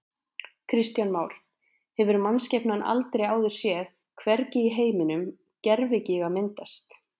Kristján Már: Hefur mannskepnan aldrei áður séð, hvergi í heiminum, gervigíga myndast?